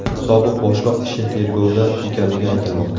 Sobiq boshliq ishi tergovda ekanligi aytilmoqda.